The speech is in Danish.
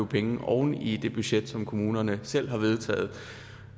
penge oven i det budget som kommunerne selv har vedtaget